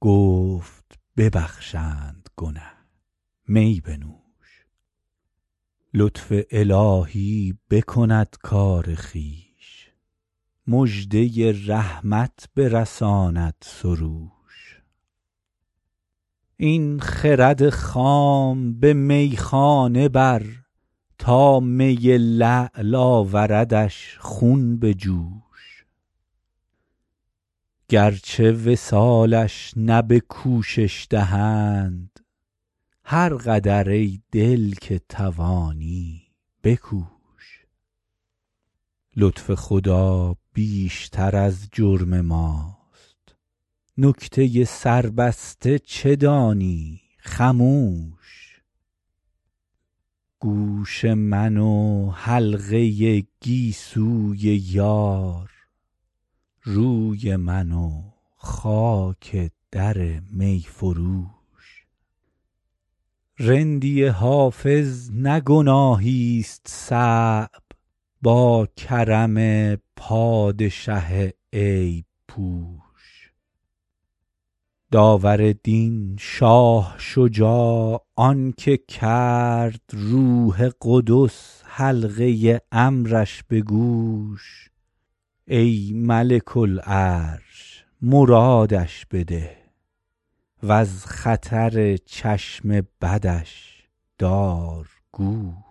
گفت ببخشند گنه می بنوش لطف الهی بکند کار خویش مژده رحمت برساند سروش این خرد خام به میخانه بر تا می لعل آوردش خون به جوش گرچه وصالش نه به کوشش دهند هر قدر ای دل که توانی بکوش لطف خدا بیشتر از جرم ماست نکته سربسته چه دانی خموش گوش من و حلقه گیسوی یار روی من و خاک در می فروش رندی حافظ نه گناهیست صعب با کرم پادشه عیب پوش داور دین شاه شجاع آن که کرد روح قدس حلقه امرش به گوش ای ملک العرش مرادش بده و از خطر چشم بدش دار گوش